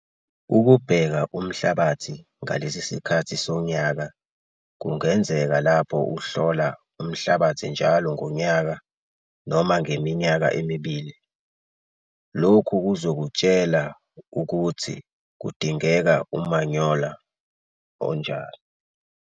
Ukubheka umhlabathi ngalesi sikhathi sonyaka kungenzeka lapho uhlola umhlabathi njalo ngonyaka noma ngeminyaka emibili, lokhu kuzokutshela ukuthi kudingeka umanyolo onjani.